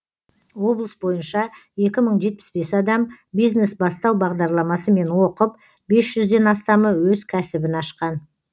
облыс бойынша екі мың жетпіс бес адам бизнес бастау бағдарламасымен оқып бес жүзден астамы өз кәсібін ашқан